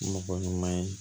Mɔgɔ ɲuman ye